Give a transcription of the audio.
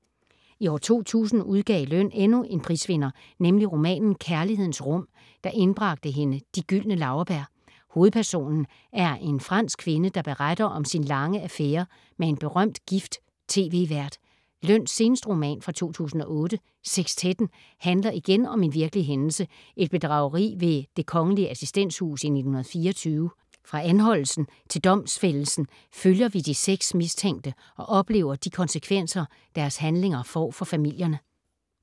I 2000 udgav Løn endnu en prisvinder, nemlig romanen Kærlighedens rum, der indbragte hende De Gyldne Laurbær. Hovedpersonen er en fransk kvinde, der beretter om sin lange affære med en berømt gift tv-vært. Løns seneste roman fra 2008, Sekstetten, handler igen om en virkelig hændelse, et bedrageri ved Det Kgl. Assistenshus i 1924. Fra anholdelsen til domsfældelsen følger vi de seks mistænkte og oplever de konsekvenser deres handlinger får for familierne.